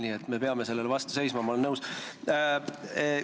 Nii et me peame sellele vastu seisma, ma olen nõus.